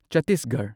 ꯆꯠꯇꯤꯁꯒꯔꯍ